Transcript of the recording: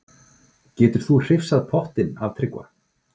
Getur þú hrifsað pottinn af Tryggva?